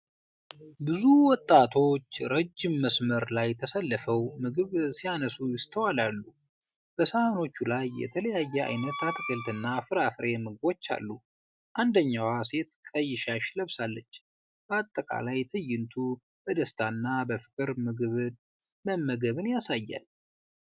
ብዙ ወጣቶች ረጅም መስመር ላይ ተሰልፈው ምግብ ሲያነሱ ይስተዋላሉ። በሳህኖቹ ላይ የተለያየ ዓይነት አትክልትና ፍራፍሬ ምግቦች አሉ። አንደኛዋ ሴት ቀይ ሻሽ ለብሳለች። በአጠቃላይ ትዕይንቱ በደስታ እና በፍቅር ምግብ መመገብን ያሳያል።